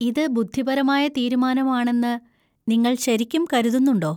ഇത് ബുദ്ധിപരമായ തീരുമാനമാണെന്ന് നിങ്ങൾ ശരിക്കും കരുതുന്നുണ്ടോ?